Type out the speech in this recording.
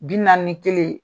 Bi naani ni kelen.